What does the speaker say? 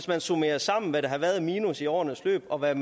man summerer sammen hvad der har været af minus i årenes løb og hvad